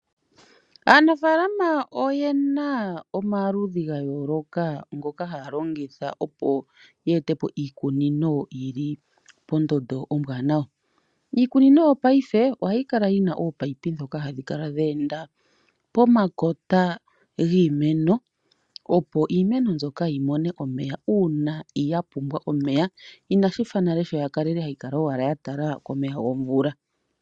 Aanafaalama oyena omaludhi gayooloka ngoka haya longitha okweeta po iikunino yili pondondo ombwanawa. Iikunino yopayife ohayi kala yi na ominino ndhoka hadhi kala dhe enda pomakota giimeno opo iimeno mbyoka yi mone omeya uuna ya pumbwa omeya. Inashi fa nale sho yali hayi kala owala ya tala komeho gomvula.